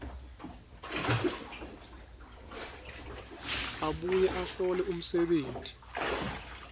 abuye ahlole umsebenti